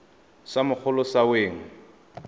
sa mogolo sa se weng